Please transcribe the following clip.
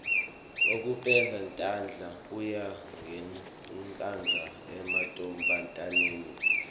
kokupenda tandla kuya ngekwandza emantfombataneni